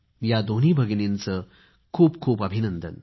या दोन्ही भगिनींचे खूप खूप अभिनंदन